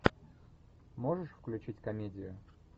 можешь включить комедию